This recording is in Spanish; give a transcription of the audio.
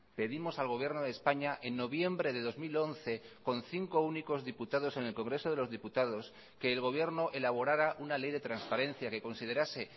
pedimos al gobierno de españa en noviembre de dos mil once con cinco únicos diputados en el congreso de los diputados que el gobierno elaborara una ley de transparencia que considerase